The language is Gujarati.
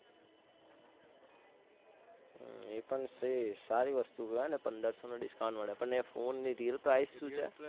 એ પણ free સારી વસ્તુ કેવાય ને પંદરસો નું discount મળે પણ એ ફોન ની રીલ આવી છે?